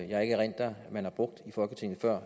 jeg ikke erindrer man har brugt i folketinget før